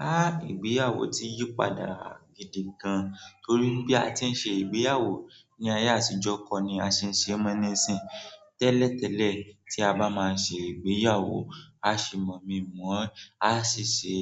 Ha! Ìgbéyàwó ti yí padà gidi gan, torí bí a ti ń ṣe ìgbéyàwó ní ayé àtijọ́ kọ́ ni a ṣe ṣe mọ́ níìsín, tẹ́lẹ̀tẹ́lẹ̀ tí a bá máa ṣe ìgbéyàwó, a ṣe mọ̀mi-mọ̀ ọ́n, a sì ṣe